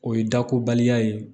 O ye dakobaliya ye